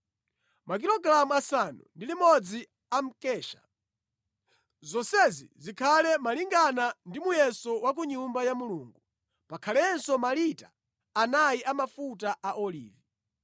makilogalamu asanu ndi limodzi a mkesha. Zonsezi zikhale malingana ndi muyeso wa ku Nyumba ya Mulungu. Pakhalenso malita anayi a mafuta a olivi.